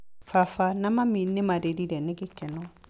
Baba na mami nĩ marĩrire nĩ gĩkeno.